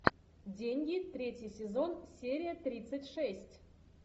деньги третий сезон серия тридцать шесть